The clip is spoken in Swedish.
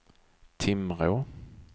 Timrå